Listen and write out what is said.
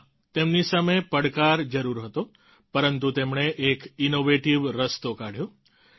હા તેમની સામે પડકાર જરૂર હતો પરંતુ તેમણે એક ઈનોવેટિવ રસ્તો કાઢ્યો